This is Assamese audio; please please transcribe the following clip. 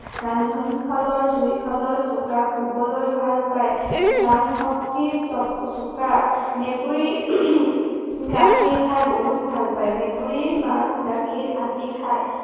ৰন্ধন শালৰ, জুই শালৰ কাষত শুবলৈ ভাল পায়। ঘ্ৰাণ শক্তি চোকা। মেকুৰীয়ে গাখীৰ খাই বহুত ভাল পায়। মেকুৰীয়ে মাছ গাখীৰ আদি খায়।